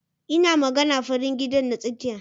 Ina magana farin gidan na tsakiya.